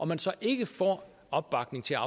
man så ikke får opbakning til at